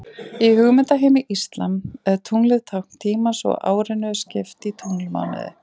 Í hugmyndaheimi íslam er tunglið tákn tímans og árinu er skipt í tunglmánuði.